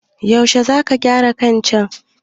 Yaushe za ka gyara kacan?